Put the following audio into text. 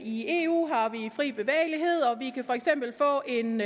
i eu har vi fri bevægelighed og vi kan for eksempel få en